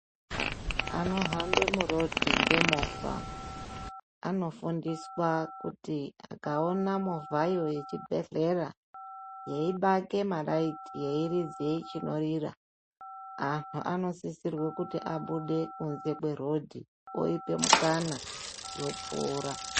Vanohambe muroad ngemovha anofundiswaa kuti akaona movhayo yechibhedhleraa yeibake malaiti yeiridze chinorira antu anosisirwe kuti abude kunze kweroad, voipe mukana yopfuura.